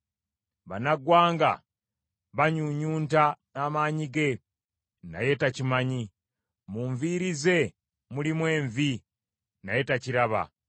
Bannaggwanga banyuunyunta amaanyi ge naye takimanyi. Mu nviiri ze mulimu envi, naye takiraba.